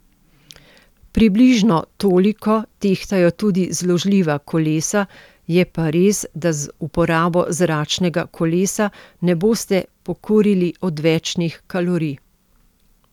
Približno toliko tehtajo tudi zložljiva kolesa, je pa res, da z uporabo zračnega kolesa ne boste pokurili odvečnih kalorij.